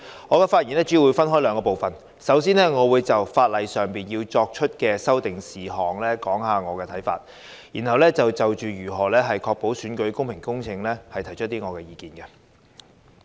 我的發言主要分為兩部分，首先我會就法例上作出的修訂事項，說說我的看法，然後就如何確保選舉公平公正，提出意見。